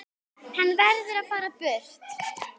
Hann verður að fara burt.